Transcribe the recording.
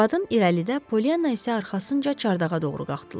Qadın irəlidə, Polyanna isə arxasınca çardağa doğru qalxdılar.